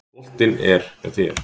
Boltinn er hjá þér.